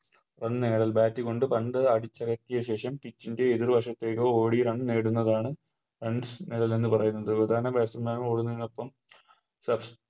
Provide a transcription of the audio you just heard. ഒന്നേൽ Bat കൊണ്ട് പന്ത് അടിച്ചകറ്റിയ ശേഷം Pitch എതിർ വശത്തേക്ക് ഓടി Run നേടുന്നതാണ് Runs എന്ന് പറയുന്നത് ഇതാണ് Batsman മാർ ഓടുന്നതിനൊപ്പം